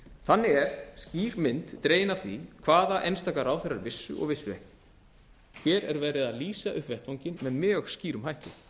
þannig er skýr mynd dregin af því hvaða einstaka ráðherrar vissu og vissu ekki hér er verið að lýsa upp vettvanginn með mjög skýrum hætti